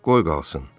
Qoy qalsın.